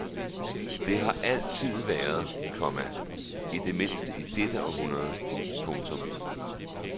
Det har det altid været, komma i det mindste i dette århundrede. punktum